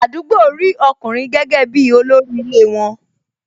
Àdúgbò rí ọkùnrin gẹ́gẹ́ bi olórí ilé won